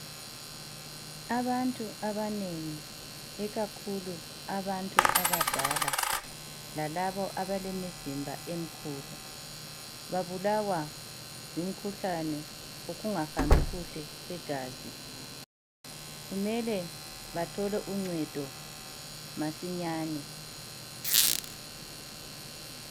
abantu abanengi ikakhulu abantu abadala lalabo abalemizimba emkhulu babulawa ngumkhuhlane wokungahambi kuhle kwegazi kumele bathole uncedo masinyane